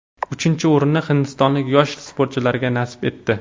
Uchinchi o‘rin hindistonlik yosh sportchilarga nasib etdi.